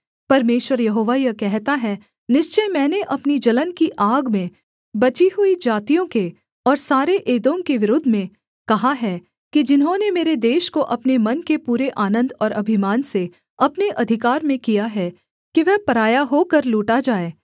परमेश्वर यहोवा यह कहता है निश्चय मैंने अपनी जलन की आग में बची हुई जातियों के और सारे एदोम के विरुद्ध में कहा है कि जिन्होंने मेरे देश को अपने मन के पूरे आनन्द और अभिमान से अपने अधिकार में किया है कि वह पराया होकर लूटा जाए